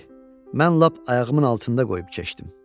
Eh, mən lap ayağımın altında qoyub keçdim.